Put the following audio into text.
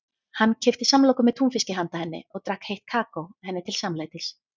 Hann keypti samloku með túnfiski handa henni og drakk heitt kakó henni til samlætis.